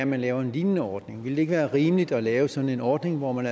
man laver en lignende ordning ville det ikke være rimeligt at lave sådan en ordning hvor man